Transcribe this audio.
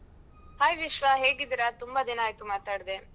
Hai Vishwa ಹೇಗಿದ್ದೀರಾ? ತುಂಬಾ ದಿನ ಆಯ್ತು ಮಾತಾಡ್ದೆ.